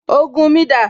Ògùn mi dà?